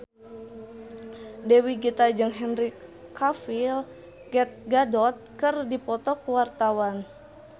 Dewi Gita jeung Henry Cavill Gal Gadot keur dipoto ku wartawan